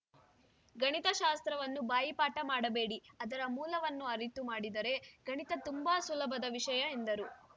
ಗಣಿತ ಶಾಸ್ತ್ರವನ್ನು ಬಾಯಿಪಾಠ ಮಾಡಬೇಡಿ ಅದರ ಮೂಲವನ್ನು ಅರಿತು ಮಾಡಿದರೆ ಗಣಿತ ತುಂಬಾ ಸುಲುಭದ ವಿಷಯ ಎಂದರು